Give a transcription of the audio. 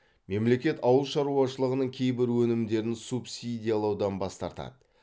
мемлекет ауыл шаруашылығының кейбір өнімдерін субсидиялаудан бас тартады